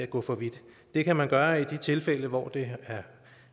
gå for vidt det kan man gøre i de tilfælde hvor det